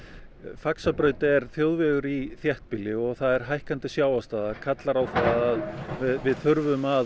Faxabraut er þjóðvegur í þéttbýli og það er hækkandi sjávarstaða og kallar á að við þurfum að